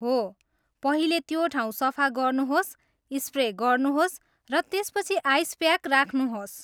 हो, पहिले त्यो ठाउँ सफा गर्नुहोस्, स्प्रे गर्नुहोस्, र त्यसपछि आइस प्याक राख्नुहोस्।